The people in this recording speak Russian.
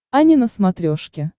ани на смотрешке